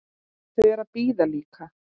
Þau eru að bíða líka.